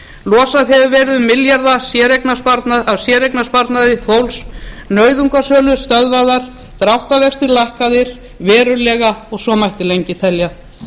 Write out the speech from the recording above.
losað hefur verið um milljarða af séreignarsparnaði fólks nauðungarsölur stöðvaðar dráttarvextir lækkaðir verulega og svo mætti lengi telja